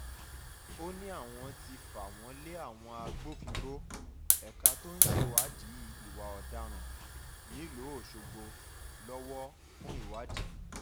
ó ní àwọn ti fà wọ́n lé àwọn agbófinró ẹ̀ka tó ń ṣèwádìí ìwà ọ̀daràn nílùú ọ̀ṣọ́gbó lọ́wọ́ fún ìwádì